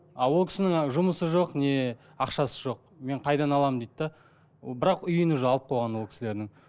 а ол кісінің жұмысы жоқ не ақшасы жоқ мен қайдан аламын дейді де бірақ үйін уже алып қойған ол кісілерінің